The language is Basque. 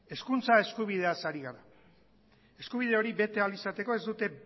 hezkuntza eskubideaz ari gara eskubide hori bete ahal izateko ez dute